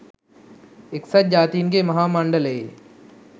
එක්සත් ජාතීන්ගේ මහා මණ්ඩලයේ